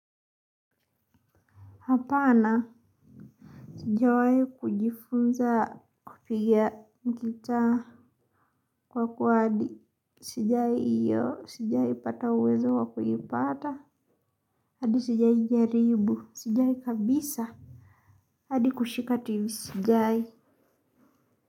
Hapana, sijawahi kujifunza kupiga gitaa kwa sijawahi hiyo o, sijawaipata uwezo wa kuipata. Hadi sijawai jaribu, sijawai kabisa. Hadi kushika tv, sijawai.